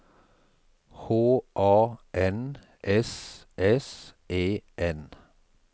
H A N S S E N